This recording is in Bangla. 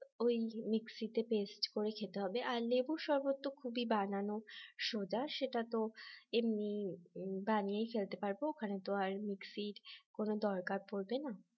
ওই mixie তে paste করে খেতে হবে আর লেবুর শরবত খুবই বানানো সোজা সেটা তো এমনি বানিয়ে ফেলতে পারব ওখানে তো আর mixie কোন দরকার পড়বে না